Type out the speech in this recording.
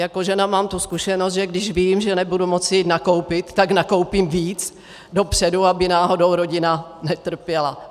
Jako žena mám tu zkušenost, že když vím, že nebudu moct jít nakoupit, tak nakoupím víc dopředu, aby náhodou rodina netrpěla.